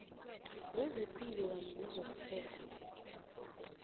wezepilo kanye nezokuphepha